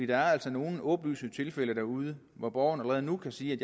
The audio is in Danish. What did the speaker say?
der er altså nogle åbenlyse tilfælde derude hvor borgerne allerede nu kan sige at